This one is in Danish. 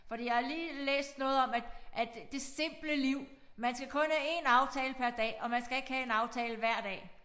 Fordi jeg har lige læst noget om at at det simple liv man skal kun have én aftale per dag og man skal ikke have en aftale hver dag